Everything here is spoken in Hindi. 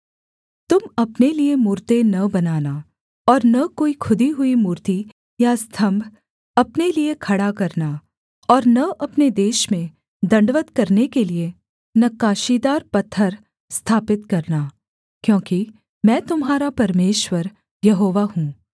तुम अपने लिये मूरतें न बनाना और न कोई खुदी हुई मूर्ति या स्तम्भ अपने लिये खड़ा करना और न अपने देश में दण्डवत् करने के लिये नक्काशीदार पत्थर स्थापित करना क्योंकि मैं तुम्हारा परमेश्वर यहोवा हूँ